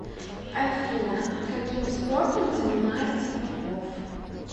афина каким спортом занимается попов